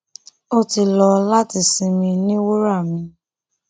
ó ti lọ láti sinmi ní wura mi